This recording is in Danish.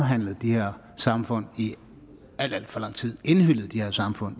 de her samfund i alt alt for lang tid indhyllet de her samfund